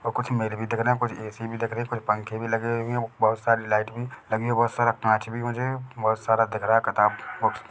और कुछ इमेज भी दिख रहे कुछ ए_सी भी दिख रहे कुछ पंखे भी लगे हुए दिख रहे हैं बहोत सारी लाइट भी लगी हुई है बहोत सारा कांच भी मुझे बोहत सारा दिख रहा किताब कुछ --